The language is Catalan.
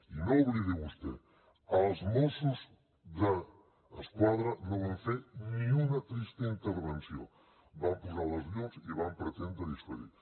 i no ho oblidi vostè els mossos d’esquadra no van fer ni una trista intervenció van posar les llums i van pretendre dissuadir